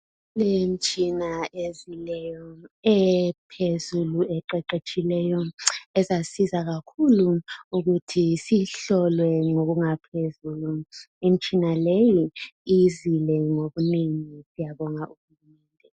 kulemitshina ezileyo ephezulu eqeqetshileyo ezasiza kakhulu ukuthi sihlolwe ngokungaphezulu imitshina leyi izile ngobunengi siyabonga u hulumende